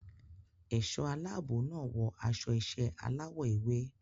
Ẹ̀ṣọ́ aláàbò náà wọ aṣọ iṣẹ́ aláwọ̀ ewé.